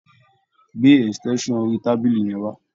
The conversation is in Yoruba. Gbé extension orí tábìlì yẹn wá.